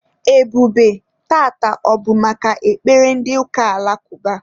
Ebube, taata, ọ bụ maka ekpere ndị ụka alakụba?